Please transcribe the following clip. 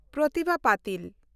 Pratibha Patil